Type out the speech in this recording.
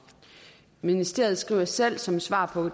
ministeriet skriver selv som svar på